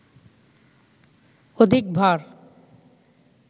অধিক ভার